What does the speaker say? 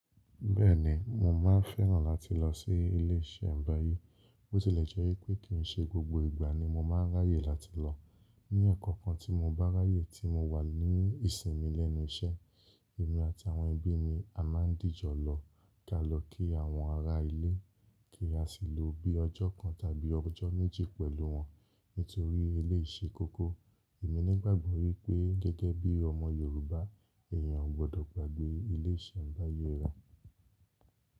Bẹ́ẹ̀ni, mo máa fẹ́ràn láti lọ sí ilé iṣẹ́nbàyé, bó tilẹ̀ jẹ́ pé kíì ṣe gbogbo ìgbà ni mo máa ráyè láti lọ. Ni ẹ̀ẹ̀kan kan tí mo bá ráyè tí mo wà ní ìsinmi lẹ́nu iṣẹ́, èmi àti àwọn ẹbí mi a máa díjọ lọ ká lọ kí àwọn ará ilé, kí a sì lo bí ọjọ́ kan tàbí ọjọ́ méjì pẹ̀lú wọn nítorí elé ṣe koko. Èmi nígbàgbọ́ wípé gẹ́gẹ́ bí ọmọ Yorùbá, èèyàn ò gbọdọ̀ gbàgbé ilé iṣẹ́nbàyé re.